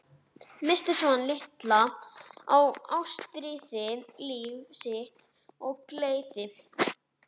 Missti Svan litla og Ástríði, líf sitt og gleði.